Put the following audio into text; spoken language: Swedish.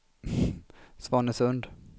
Svanesund